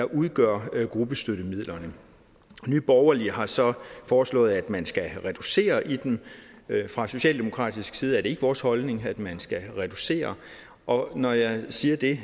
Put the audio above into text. udgør gruppestøttemidlerne nye borgerlige har så foreslået at man skal reducere i dem fra socialdemokratisk side er det ikke vores holdning at man skal reducere og når jeg siger det